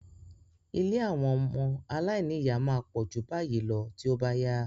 Ilé àwọn ọmọ aláìníyà máa pọ̀ ju báyìí lọ tí ó bá yá.